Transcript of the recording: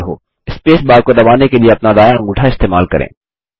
space bar को दबाने के लिए अपना दायाँ अंगूठा इस्तेमाल करें